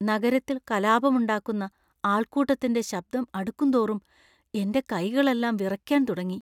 നഗരത്തിൽ കലാപമുണ്ടാക്കുന്ന ആൾകൂട്ടത്തിന്‍റെ ശബ്ദം അടുക്കുംതോറും എന്‍റെ കൈകളെല്ലാം വിറയ്ക്കാൻ തുടങ്ങി.